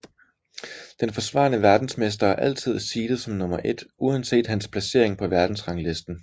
Den forsvarende verdensmester er altid seedet som nummer 1 uanset hans placering på verdensranglisten